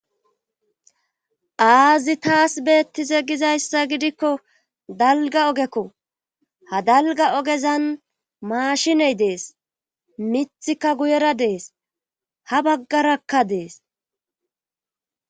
Aazi taas beettize gizayssa gidikko dalga ogekko ha dalga ogezan maashiney dees mithikka guyera dees ha baggarakka dees.